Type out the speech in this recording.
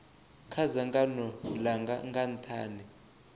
kha dzangano langa nga nthani